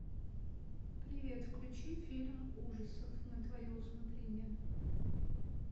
привет включи фильм ужасов на твое усмотрение